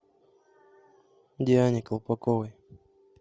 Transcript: диане колпаковой